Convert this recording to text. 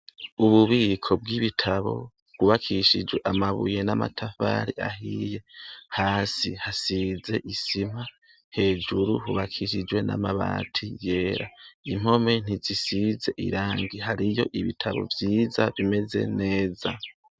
Ububiko bw'ibitabo bwubakishijwe amabuye n'amatafari ahiye. Hasi hasize isima, hejuru hubakishijwe n'amabati yera. Impome ntizisize irangi. Hariyo ibitabo vyiza bimeza neza.